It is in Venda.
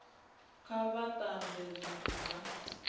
kha vha tanzwe zwithu zwa